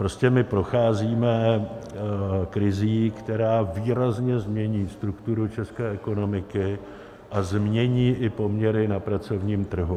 Prostě my procházíme krizí, která výrazně změní strukturu české ekonomiky a změní i poměry na pracovním trhu.